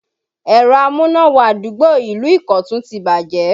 Ẹ̀rọ amúná-wọ-adúgbò ìlú Ikotun ti bàjẹ́